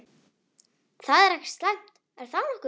Það er ekkert slæmt, er það nokkuð?